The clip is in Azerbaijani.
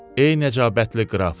Ey nəcabətli qraf.